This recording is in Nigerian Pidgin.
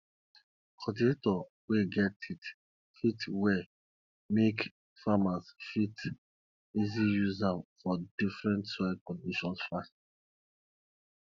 cultivator we get teeth fit well make farmers fit easy use am for different soil conditions fast